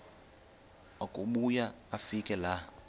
akubuya afike laa